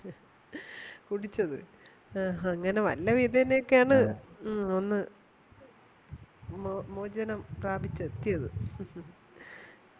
കുടിച്ചത് അങ്ങനെ വല്ലവിധേനെ ഒക്കെ ആണ് ഒന്ന് മോചനം പ്രാപിച്ചു എത്തിയതു